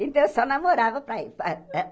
Então, eu só namorava para ir para eh.